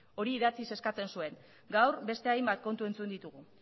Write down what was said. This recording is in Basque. hori idatziz eskatzen zuen gaur beste hainbat kontu entzun ditugu